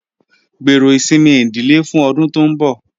Gbero isinmi idile fun ọdun to nbọ